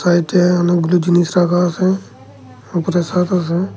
বাড়িতে অনেকগুলো জিনিস রাখা আছে ওপরে ছাদ আছে।